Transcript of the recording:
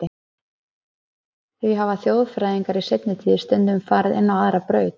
Því hafa þjóðfræðingar í seinni tíð stundum farið inn á aðra braut.